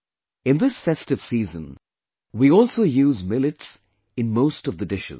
In this festive season, we also use Millets in most of the dishes